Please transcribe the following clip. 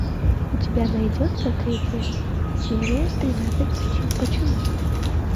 у тебя найдется третья серия тринадцать причин почему